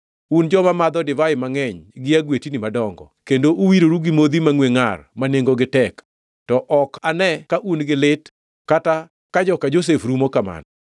Un joma madho divai mangʼeny gi agwetni madongo, kendo uwiroru gi modhi mangʼwe ngʼar ma nengogi tek, to ok ane ka un gi lit kata ka joka Josef rumo kamano.